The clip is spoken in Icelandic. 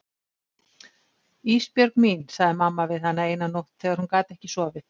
Ísbjörg mín, sagði mamma við hana eina nótt þegar hún gat ekki sofið.